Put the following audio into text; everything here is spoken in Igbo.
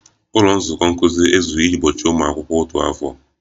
Ụlọ nzukọ nkuzi ezughị iji gbochie ụmụ akwụkwọ otu afọ